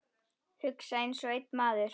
Hugsa einsog einn maður.